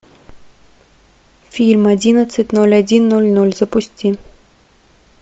фильм одиннадцать ноль один ноль ноль запусти